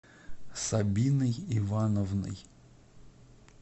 сабиной ивановной